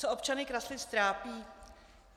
Co občany Kraslic trápí?